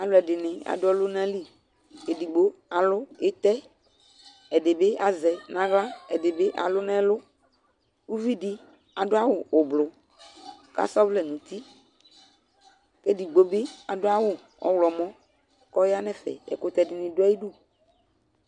Alʋɛdɩnɩ adʋ ɔlʋna li : edigbo alʋ ɩtɛ , ɛdɩ bɩ azɛ n'aɣla , ɛdɩ bɩ alʋ n'ɛlʋ Uvidɩ adʋ awʋ ʋblʋ k'asa ɔvlɛ n'uti; k'edigbo bɩ adʋ awʋ ɔɣlɔmɔ k'ɔya n'ɛfɛ , ɛkʋtɛ dɩnɩ dʋ ay'idu